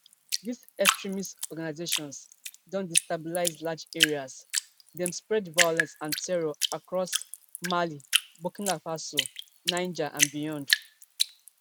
dis extremist organisations don destabilise large areas dem spread violence and terror across mali burkina faso niger and beyond